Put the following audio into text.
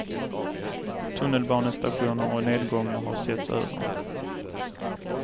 Tunnelbanestationer och nedgångar har setts över.